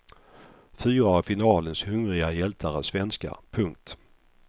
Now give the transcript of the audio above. Fyra av finalens hungriga hjältar är svenskar. punkt